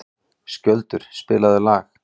Skjöldur, spilaðu lag.